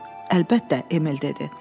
Əlbəttə, Emil dedi.